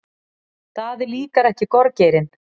Daða líkar ekki gorgeirinn.